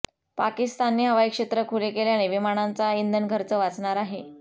पाकिस्तानने हवाई क्षेत्र खुले केल्याने विमानांचा इंधनखर्च वाचणार आहे